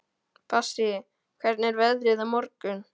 Bassí, hvernig er veðrið á morgun?